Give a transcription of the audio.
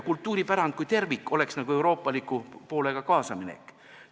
Kultuuripärand kui tervik oleks euroopaliku poolega kaasaminek.